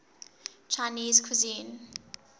chinese cuisine